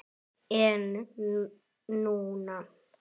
En núna.